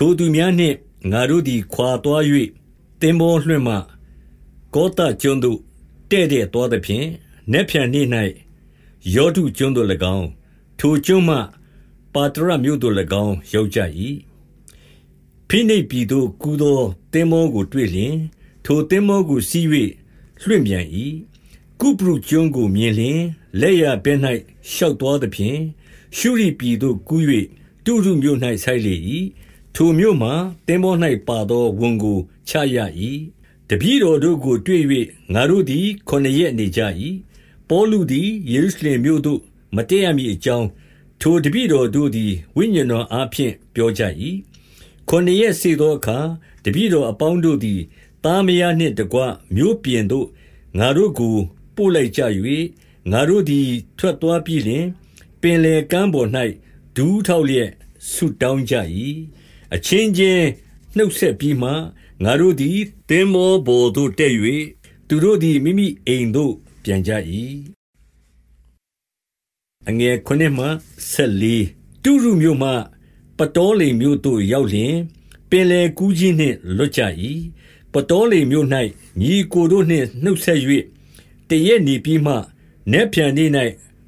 ထိုသူများနှင့် ငါတို့သည် ခွါသွား၍ သင်္ဘောလွှင့်မှ ကောသကျွန်းသို့တည့်တည့်သွားသဖြင့်၊ နက်ဖြန်နေ့၌ ရောဒုကျွန်းသို့၎င်း၊ ထိုကျွန်းမှ ပါတရမြို့သို့၎င်း ရောက်ကြ၏။ ဖိနိတ်ပြည်သို့ကူးသော သင်္ဘောကိုတွေ့လျှင်၊ ထိုသင်္ဘောကိုစီး၍ လွှင့်ပြန်၏။ ကုပရုကျွန်းကိုမြင်လျှင် လက်ျာဘက်၌ ရှောက်သွားသဖြင့်၊ ရှုရိ ပြည်သို့ကူး၍ တုရူမြို့၌ ဆိုက်လေ၏။ ထိုမြို့မှာ သင်္ဘော၌ပါသော ဝန်ကိုချရ၏။ တပည့်တော်တို့ကိုတွေ့၍ ငါတို့သည် ခုနစ်ရက် နေကြ၏။ ပေါလုသည် ယေရုရှလင်မြို့သို့ မတက်ရမည် အကြောင်း၊ ထိုတပည့်တော် တို့သည် ဝိညာဉ်တော်အား ဖြင့် ပြောကြ၏။ ခုနစ်ရက်စေ့သောအခါ တပည့်တော်အပေါင်းတို့သည် သားမယားနှင့်တကွ မြို့ပြင်သို့ ငါတို့ကို ပို့လိုက် ကြ၍ ငါတို့သည်ထွက်သွား ပြီးလျှင်၊ ပင်လယ်ကမ်းပေါ်၌ ဒူးထောက်လျက်ဆုတောင်းကြ၏။ အချင်းချင်းနှုတ်ဆက်ပြီးမှ ငါတို့သည် သင်္ဘောပေါ်သို့တက်၍ သူတို့သည် မိမိအိမ်သို့ပြန်ကြ၏။ တုရုမြို့မှ ပတောလင်မြို့သို့ရောက်လျှင်၊ ပင်လယ်ကူးခြင်းနှင့် လွတ်ကြ၏။ ပတောလင်မြို့၌ ညီအစ်ကိုတို့နှင့် နှုတ်ဆက်၍ တရက်နေပြီးမှ၊ နက်ဖြန်နေ့၌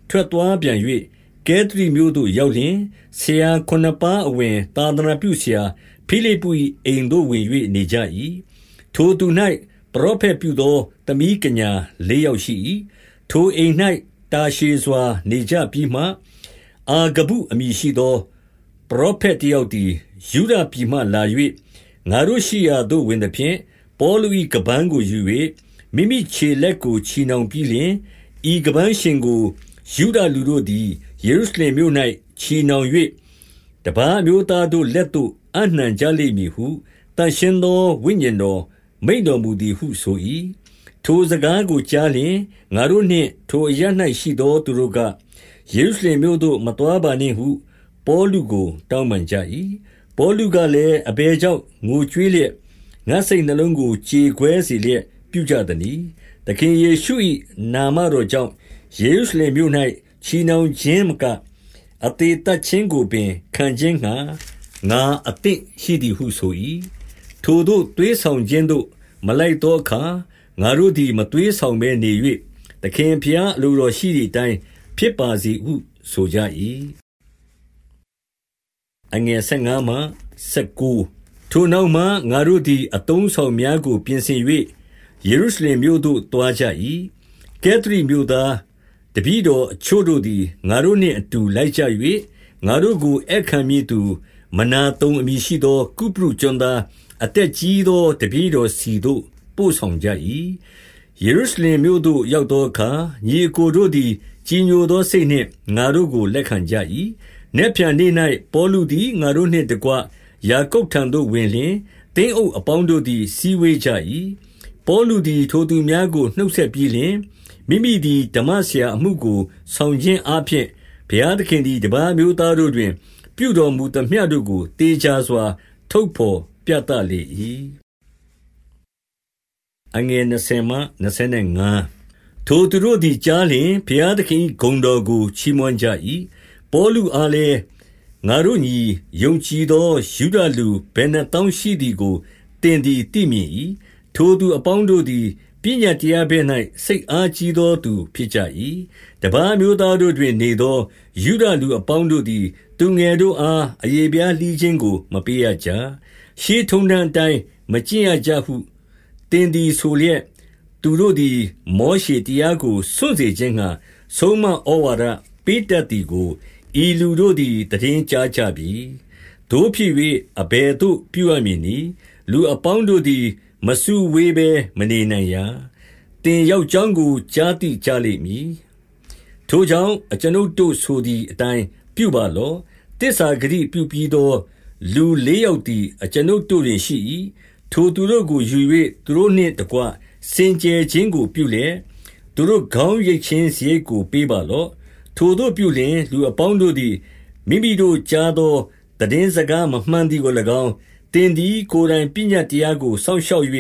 ထွက်သွားပြန်၍ ကဲသရိမြို့သို့ ရောက်လျှင်၊ ဆရာခုနစ်ပါးအဝင်သာသနာပြုဆရာ ဖိလိပ္ပု၏ အိမ်သို့ဝင်၍နေကြ၏။ ထိုသူ၌ ပရောဖက်ပြုသော သမီးကညာ လေးယောက်ရှိ၏။ ထိုအိမ်၌တာရှည်စွာနေကြပြီးမှ အာဂဗုအမည် ရှိသော ပရောဖက်တယောက်သည် ယုဒပြည်မှလာ၍၊ ငါတို့ရှိရာသို့ဝင်သဖြင့်၊ ပေါလု၏ ခါးပန်းကိုယူ၍ မိမိခြေလက် ကိုချည်နှောင်ပြီးလျှင်၊ ဤခါးပန်းရှင်ကို ယုဒလူတို့သည် ယေရုရှလင်မြို့၌ ချည်နှောင်၍၊ တပါး အမျိုးသားတို့လက်သို့အပ်နှံကြလိမ့်မည်ဟု သန့်ရှင်းသော ဝိညာဉ်တော်မိန့်တော်မူသည်ဟုဆို၏။ ထိုစကားကိုကြားလျှင်၊ ငါတို့နှင့် ထိုအရပ်၌ ရှိသော သူတို့က၊ ယေရုရှလင်မြို့သို့မသွားပါနှင့်ဟု ပေါလုကိုတောင်းပန်ကြ၏။ ပေါလုကလည်း၊ အဘယ်ကြောင့် ငိုကြွေးလျက် ငါ့စိတ်နှလုံးကို ကြေကွဲစေလျက် ပြုကြသနည်း။ သခင်ယေရှု၏ နာမတော်ကြောင့် ယေရုရှလင်မြို့၌ ချည်နှောင်ခြင်းမက၊ အသေသတ်ခြင်းကိုပင် ခံခြင်းငှါ ငါအသင့်ရှိသည်ဟုဆို၏။ ထိုသို့သွေးဆောင်ခြင်းသို့ မလိုက်သောအခါ ငါတို့သည် မသွေးဆောင်ဘဲနေ၍၊ သခင်ဘုရား အလိုတော်ရှိသည်အတိုင်း ဖြစ်ပါစေဟု ဆိုကြ၏။ ထိုနောက်မှ ငါတို့သည် အသုံးအဆောင်များကို ပြင်ဆင်၍ ယေရုရှလင်မြို့သို့သွားကြ၏။ ကဲသရိမြို့သားတပည့်တော်အချို့တို့သည် ငါတို့နှင့်အတူ လိုက်ကြ၍၊ ငါတို့ကိုဧည့်ခံမည့်သူ မနာသုန် အမည်ရှိသော ကုပရုကျွန်း သား အသက်ကြီးသော တပည့်တော်ဆီသို့ ပို့ဆောင်ကြ၏။ ယေရုရှင်လင်မြို့သို့ရောက်သောအခါ၊ ညီအစ်ကိုတို့သည် ကြည်ညိုသောစိတ်နှင့် ငါတို့ကို လတ်ခံကြ၏။ နက်ဖြန်နေ့၌ပေါလုသည် ငါတို့နှင့်တကွ ယာကုပ်ထံသို့ဝင်လျှင် သင်းအုပ်အပေါင်းတို့သည် စည်းဝေးကြ၏။ ပေါလုသည်ထိုသူများကို နှုတ်ဆက်ပြီးလျှင်၊ မိမိသည် ဓမ္မဆရာအမှုကိုဆောင်ခြင်းအားဖြင့် ဘုရား သခင်သည် တပါးအမျိုး သားတို့တွင်ပြုတော်မူသမျှတို့ကို သေချာစွာ ထုတ်ဘော်ပြသလေ၏။ ထိုသူတို့သည်ကြားလျှင်၊ ဘုရားသခင်၏ ဂုဏ်တော်ကိုချီးမွမ်း ကြ၏။ ပေါလုအားလည်း၊ ငါတို့ညီ၊ ယုံကြည်သော ယုဒလူဘယ်နှစ်သောင်း ရှိသည်ကို သင်သည် သိမြင်၏။ ထိုသူအပေါင်းတို့သည် ပညတ်တရား ဘက်၌ စိတ်အားကြီးသောသူဖြစ်ကြ၏။ တပါးအမျိုးသားတို့တွင် နေသော ယုဒလူ အပေါင်း တို့သည် သူငယ်တို့အားအရေဖျားလှီးခြင်းကို မပေးရကြ။ ရှေးထုံးတမ်းအတိုင်း မကျင့်ရကြဟု သင်သည် ဆိုလျက်၊ သူတို့သည်မောရှေ တရားကိုစွန့်စေ ခြင်းငှါ ဆုံးမဩဝါဒ ပေးတတ်သည်ကို ဤလူတို့သည် သိတင်းကြားကြ ပြီ။ သို့ဖြစ်၍ အဘယ်သို့ပြုရမည်နည်း။ လူအပေါင်း တို့သည် မစုဝေးဘဲမနေနိုင်ရာ။ သင်ရောက်ကြောင်းကို ကြားသိလိမ့်မည်။ ထိုကြောင့် အကျွန်ုပ်တို့ဆိုသည်အတိုင်း ပြုပါလော့။ သစ္စာဂတိ ပြုပြီးသော လူလေးယောက်သည် အကျွန်ုပ်တို့တွင်ရှိ၏။ ထိုသူတို့ကို ယူ၍ သူတို့နှင့်တကွ စင်ကြယ်ခြင်း ကိုပြုလျက်၊ သူတို့ခေါင်းရိတ်ခြင်းစရိတ်ကို ပေးပါလော့။ ထိုသို့ပြုလျှင် လူအပေါင်း တို့သည် မိမိတို့ကြားသော သိတင်းစကား မမှန်သည်ကို၎င်း၊ သင်သည် ကိုယ်တိုင် ပညတ်တရားကိုစောင့်ရှောက်၍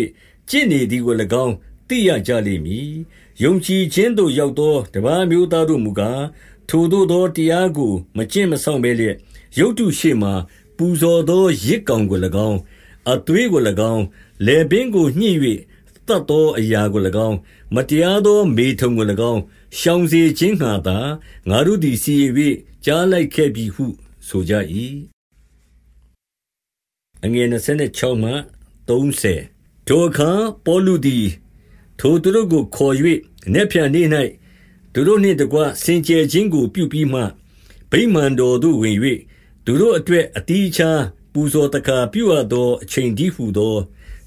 ကျင့်နေသည်ကို၎င်း သိရကြ လိမ့်မည်။ ယုံကြည်ခြင်းသို့ ရောက်သောတပါးအမျိုးသားတို့မူကား၊ ထိုသို့ သောတရားကိုမကျင့်မစောင့်ဘဲလျက်၊ ရုပ်တုရှေ့မှာပူဇော်သော ယဇ်ကောင်ကို၎င်း၊ အသွေးကို ၎င်း၊ လည်ပင်းကိုညှစ်၍ သတ်သောအရာ ကို၎င်း၊ မတရားသော မေထုန်ကို၎င်း၊ ရှောင်စေခြင်းငှါသာ ငါတို့သည် စီရင်၍ ကြားလိုက်ခဲ့ပြီဟုဆိုကြ၏။ ထိုအခါပေါလုသည် ထိုသူတို့ကိုခေါ်၍ နက်ဖြန်နေ့၌ သူတို့နှင့် တကွစင်ကြယ်ခြင်းကိုပြုပြီးမှ ၊ ဗိမာန် တော်သို့ဝင်၍ သူတို့အတွက် အသီးအခြား ပူဇော်သက္ကာ ပြုရသောအချိန်တည်းဟူသော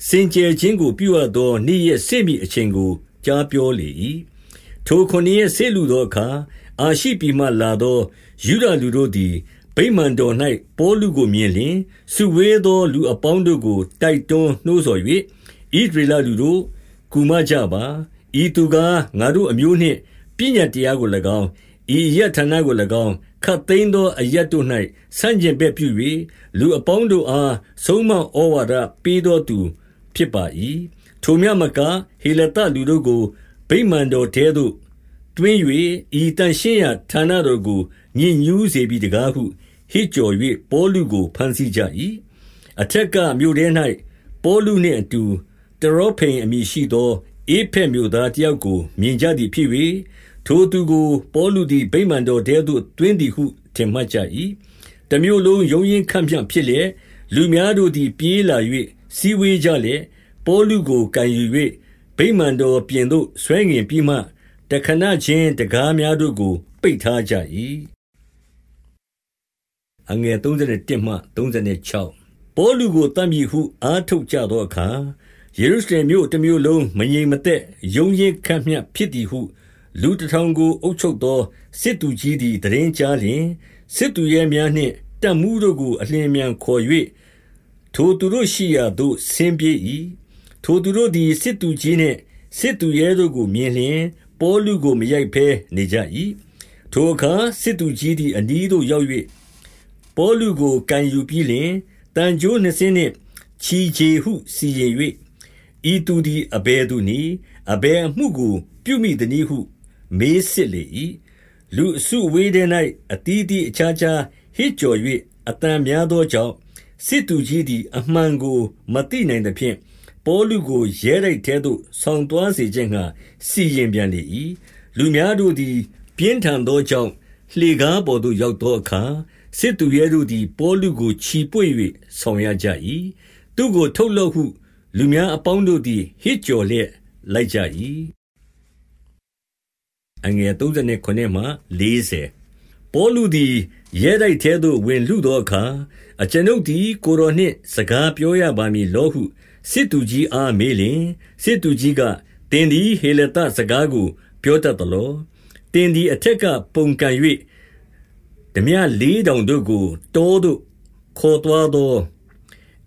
စင်ကြယ်ခြင်း ကိုပြုရ သော နေ့ရက်စေ့မည့်အချိန်ကို ကြားပြောလေ၏။ ထိုခုနစ်ရက်စေ့လူသောအခါ၊ အာရှိပြည်မှလာသော ယုဒလူတို့သည် ဗိမာန်တော်၌ ပေါလုကိုမြင်လျှင် စုဝေးသောလူအပေါင်းတို့ကိုတိုက်တွန်းနှိုးဆော်၍၊ ဣသရေလ လူတို့၊ ကူမကြပါ။ ဤသူကား၊ ငါတို့အမျိုးနှင့် ပညတ်တရားကို၎င်း ဤအရပ်ဌာနကို၎င်း၊ ခပ်သိမ်းသောအရပ်တို့၌ ဆန့်ကျင်ဘက်ပြု၍၊ လူအပေါင်းတို့အား ဆုံးမဩဝါဒ ပေးသောသူဖြစ်ပါ၏။ ထိုမျှမက၊ ဟေလသလူတို့ကို ဗိမာန်တော်ထဲသို့သွင်း၍၊ ဤသန့်ရှင်းရာဌာနတော်ကို ညစ်ညူးစေပြီတကားဟု ဟစ်ကြော်၍၊ ပေါလုကို ဘမ်းဆီးကြ၏။ အထက်ကမြို့ထဲ၌ ပေါလုနှင့်အတူတရောဖိမ်အမည်ရှိသော ဧဖက်မြို့သားတယောက်ကို မြင်ကြ သည်ဖြစ်၍၊ ထိုသူကိုပေါလုသည် ဗိမာန်တော်ထဲသို့ သွင်းသည်ဟု ထင်မှတ်ကြ၏။ တမြို့လုံးရုန်းရင်းခတ်မျှ ဖြစ်လျှင်၊ လူများတို့သည် ပြေးလာ၍ စုဝေးကြလျက်၊ ပေါလုကိုကိုင်ယူ၍ ဗိမာန်တော်ပြင်သို့ ဆွဲငင်ပြီးမှ တခဏ ခြင်းတံခါးများတို့ကို ပိတ်ထားကြ၏။ ပေါလုကိုသတ်မည်ဟု အားထုတ်ကြသောအခါ၊ ယေရုရှလင်မြို့ တမြို့လုံး မငြိမ်မသက်ရုန်းရင်းခတ်မျှ ဖြစ်သည်ဟု လူတထောင်ကို အုပ်ချုပ်သော စစ်သူကြီး သည် သိတင်းကြားလျှင်၊ စစ်သူရဲများနှင့်တပ်မှူးတို့ကို အလျင်အမြန်ခေါ်၍ ထိုသူတို့ ရှိရာသို့ဆင်းပြေး၏။ ထိုသူတို့သည် စစ်သူကြီးနှင့်စစ်သူရဲတို့ကိုမြင်လျှင်၊ ပေါလုကိုမရိုက်ဘဲနေကြ၏။ ထိုအခါစစ်သူကြီးသည်အနီးသို့ရောက်၍ ပေါလုကိုကိုင်ယူပြီးလျှင်၊ သံကြိုးနှစ်စင်းနှင့် ချည်ချေ ဟုစီရင်၍၊ ဤသူသည်အဘယ်သူနည်း။ အဘယ်အမှုကို ပြုမိသနည်းဟုမေးစစ်လေ၏။ လူအစုအဝေးထဲ၌ အသီးသီးအခြားခြားဟစ်ကြော်၍ အသံများသောကြောင့်၊ စစ်သူကြီးသည် အမှန်ကိုမသိနိုင်သဖြင့်၊ ပေါလုကိုရဲတိုက်ထဲသို့ ဆောင်သွားစေခြင်းငှါ စီရင်ပြန်လေ၏။ လူများတို့သည် ပြင်းထန်သောကြောင့်၊ လှေကားပေါ်သို့ ရောက်သောအခါ၊ စစ်သူရဲတို့သည် ပေါလုကို ချီပွေ့၍ ဆောင်ရကြ၏။ သူ့ကိုထုတ်လော့ဟု လူများအပေါင်းတို့သည် ဟစ်ကြော်လျက် လိုက်ကြ၏။ ပေါလုသည်ရဲတိုက်ထဲသို့ဝင်လုသောအခါ၊ အကျွန်ုပ်သည် ကိုယ်တော်နှင့် စကားပြောရပါမည် လောဟု စစ်သူကြီးအားမေးလျှင် စစ်သူကြီးကသင်သည် ဟေလသစကားကိုပြောတတ်သလော။ သင်သည်အထက်ကပုန်ကန်၍ ထားပြလေးထောင်တို့ကို တောသို့ခေါ်သွားသော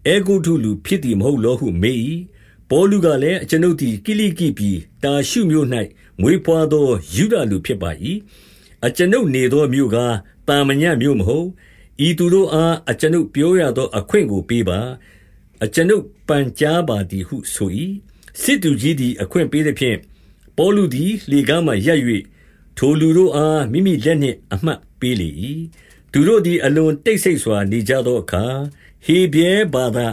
အဲဂုတ္တုလူဖြစ်သည် မဟုတ်လောဟု မေး၏။ ပေါလုကလည်း၊ အကျွန်ုပ်သည် ကိလိကိပြည် တာရှုမြို့၌ မွေးဘွားသော ယုဒလူဖြစ်ပါ၏။ အကျွန်ုပ်နေသော မြို့ကား၊ သာမည မြို့မဟုတ်။ ဤသူတို့အား အကျွန်ုပ် ပြောရသော အခွင့်ကိုပေးပါ။ အကျွန်ုပ် ပန်ကြားပါသည်ဟုဆို၏။ စစ်သူကြီးသည်အခွင့်ပေးသဖြင့်၊ ပေါလုသည် လှေကားပေါ်မှာ ရပ်၍ထိုလူတို့အား မိမိလက်နှင့် အမှတ်ပေးလေ၏။ သူတို့သည်အလွန် တိတ်ဆိတ်စွာ နေကြသောအခါ၊ ဟေဗြဲဘာသာ